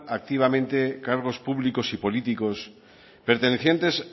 activamente cargos públicos y políticos pertenecientes